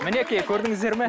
мінекей көрдіңіздер ме